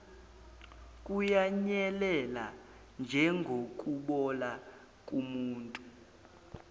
kuyanyelela njengokubola komuthi